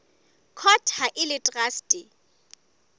court ha e le traste